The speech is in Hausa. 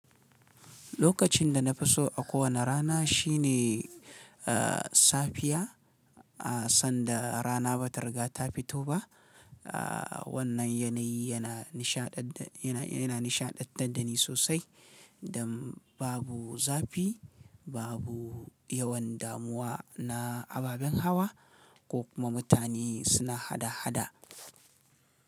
Lokacin da na fi so a kowane rana shine safiya sanda rana ba ta riga ta fito ba. Wannan yanayi yana nishaɗanta, yana, yana nishaɗantar da ni sosai don babu zafi, babu yawan damuwa na ababen hawa ko kuma mutane suna hada-hada.